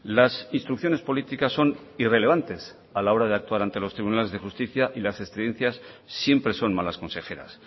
las instrucciones políticas son irrelevantes a la hora de actuar ante los tribunales de justicia y las estridencias siempre son malas consejeras